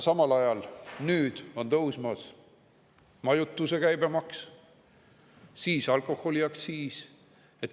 Aga nüüd tõusevad majutuse käibemaks ja alkoholiaktsiis.